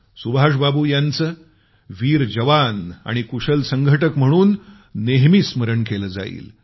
सुभाष बाबू यांचं वीर जवान आणि कुशल संघटक म्हणून नेहमी स्मरण केलं जाईल